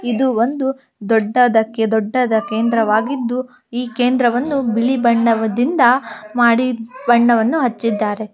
ಇದು ಒಂದು ದೊಡ್ಡ ದಕ್ಕೆ ದೊಡ್ಡದ ಕೇಂದ್ರವಾಗಿದ್ದು ಈ ಕೇಂದ್ರವನ್ನು ಬಿಳಿ ಬಣ್ಣದಿಂದ ಮಾಡಿ ಬಣ್ಣವನ್ನು ಹಚ್ಚಿದ್ದಾರೆ .